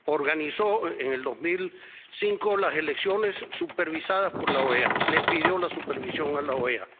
Organizó en 2005 las elecciones supervisadas por la OEA, le pidió la supervisión a la OEA.